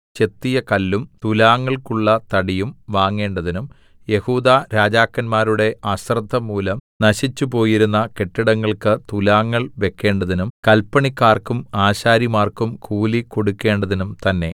ചെത്തിയ കല്ലും തുലാങ്ങൾക്കുള്ള തടിയും വാങ്ങേണ്ടതിനും യെഹൂദാ രാജാക്കന്മാരുടെ അശ്രദ്ധ മൂലം നശിച്ചുപോയിരുന്ന കെട്ടിടങ്ങൾക്ക് തുലാങ്ങൾ വെക്കേണ്ടതിനും കല്പണിക്കാർക്കും ആശാരിമാർക്കും കൂലി കൊടുക്കണ്ടതിനും തന്നേ